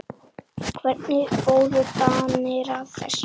Hvernig fóru Danir að þessu?